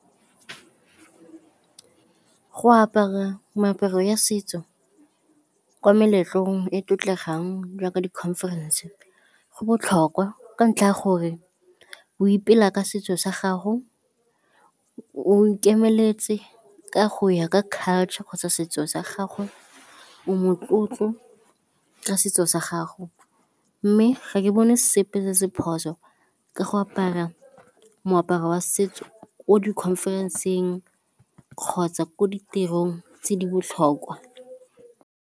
Go apara meaparo ya setso kwa meletlong e e tlotlegang jaaka di-conference go botlhokwa ka ntlha ya gore go ipela ka setso sa gago, o ikemeletse ka go ya ka culture kgotsa setso sa gago, o motlotlo ka setso sa gago. Mme ga ke bone sepe se se phoso ka go apara moaparo wa setso ko di-conference-eng kgotsa ko ditirong tse di botlhokwa.